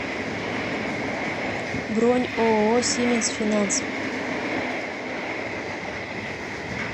бронь ооо сименс финанс